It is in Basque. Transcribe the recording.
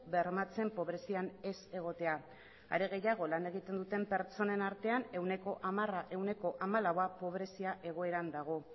bermatzen pobrezian ez egotea are gehiago lan egiten duten pertsonen artean ehuneko hamalaua pobrezia egoeran dago